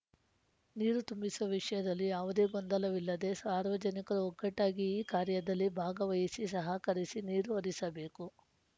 ನೀರು ತುಂಬಿಸುವ ವಿಷಯದಲ್ಲಿ ಯಾವುದೇ ಗೊಂದಲವಿಲ್ಲದೇ ಸಾರ್ವಜನಿಕರು ಒಗ್ಗಟಾಗಿ ಈ ಕಾರ್ಯದಲ್ಲಿ ಭಾಗವಹಿಸಿ ಸಹಕರಿಸಿ ನೀರು ಹರಿಸಬೇಕು